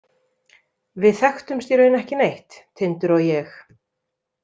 Við þekktumst í raun ekki neitt, Tindur og ég.